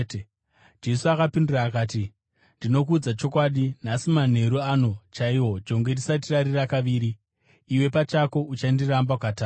Jesu akapindura akati, “Ndinokuudza chokwadi, nhasi, manheru ano chaiwo, jongwe risati rarira kaviri, iwe pachako uchandiramba katatu.”